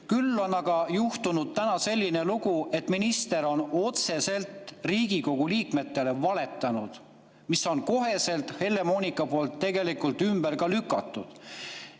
Küll on aga juhtunud selline lugu, et minister on otseselt Riigikogu liikmetele valetanud, kuid see sai koheselt Helle-Moonika poolt ümber lükatud.